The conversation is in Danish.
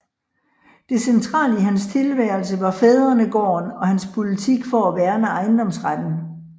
Det centrale i hans tilværelse var fædrenegården og hans politik for at værne ejendomsretten